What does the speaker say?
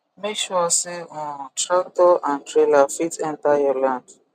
make sure say um tractor and trailer fit enter your land